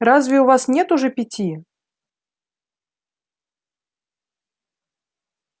разве у вас нет уже пяти